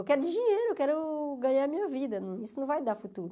Eu quero de dinheiro, eu quero ganhar a minha vida, isso não vai dar futuro.